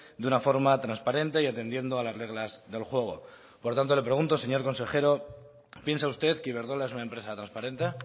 de una forma transparente y atendiendo a las reglas del juego por tanto le pregunto señor consejero piensa usted que iberdrola es una empresa transparente